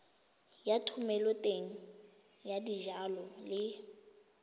ya thomeloteng ya dijalo le